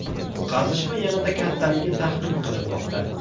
Qazishma yanada kattaligi taxmin qilinmoqda.